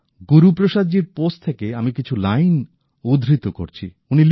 গুরুপ্রসাদজীর post থেকে আমি কিছু লাইন উদ্ধৃত করছি